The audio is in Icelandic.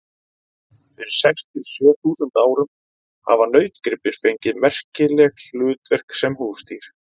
Fyrir sex til sjö þúsund árum hafa nautgripir fengið merkileg hlutverk sem húsdýr.